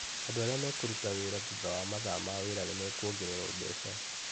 Andũ arĩ makũruta wĩra thutha wa mathaa ma wĩra nĩmekwongererwo mbeca.